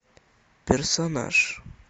персонаж